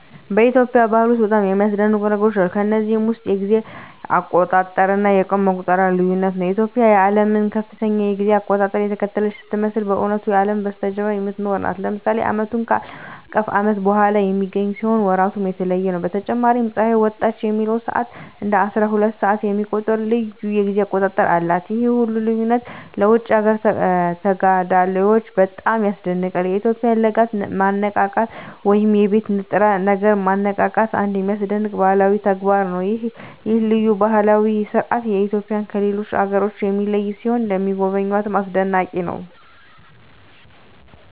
በኢትዮጵያ ባህል ውስጥ በጣም የሚያስደንቁ ነገሮች አሉ። ከነዚህም ውስጥ የጊዜ አቆጣጠር እና የቀን መቁጠሪያው ልዩነት ነው። ኢትዮጵያ የዓለምን ከፍተኛ የጊዜ አቆጣጠር እየተከተለች ስትመስል በእውነቱ ከአለም በስተጀርባ የምትኖር ናት። ለምሳሌ ዓመቱ ከአለም አቀፍ ዓመት ወደ ኋላ በሚገኝ ሲሆን ወራቱም የተለየ ነው። በተጨማሪም ፀሐይ ወጣች የሚለውን ሰዓት እንደ አስራሁለት ሰዓት የሚቆጥር ልዩ የጊዜ አቆጣጠር አላት። ይህ ሁሉ ልዩነት ለውጭ አገር ተጋዳላዮች በጣም ያስደንቃል። የኢትዮጵያውያን ለጋ ማነቃቃት ወይም የቤት ንጥረ ነገር ማነቃቃትም አንድ የሚያስደንቅ ባህላዊ ተግባር ነው። ይህ ልዩ ባህላዊ ሥርዓት ኢትዮጵያውያንን ከሌሎች አገሮች የሚለይ ሲሆን ለሚጎበኙትም አስደናቂ ነው።